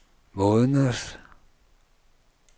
måneders